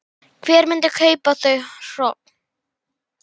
Hver myndi kaupa þau hrogn?